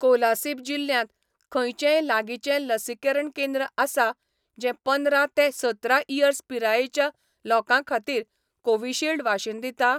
कोलासिब जिल्ल्यांत खंयचेंय लागींचें लसीकरण केंद्र आसा जें पंदरा ते सतरा इयर्स पिरायेच्या लोकां खातीर कोविशिल्ड वाशीन दिता ?